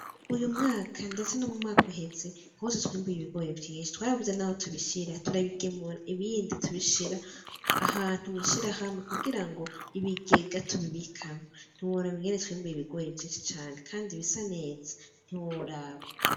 Uyu mwaka, ndetse no mu mwaka uheze hose twiyumbuye ibigore vyinshi twarabuza, naho tubishira turabigemura ibindi tubishira ahantu mwishira hambi kugira ngo ibigega tubibikama nti worabigani tswiyumbuye ibigore ivyici cane, kandi ibisa neza ntiworaba.